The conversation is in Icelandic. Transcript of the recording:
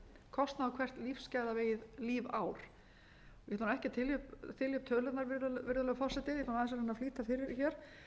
kostnað á hvert lífsgæðavegið lífár ég ætla ekki að þylja upp tölurnar virðulegur forseti ég ætla aðeins að reyna að flýta fyrir hér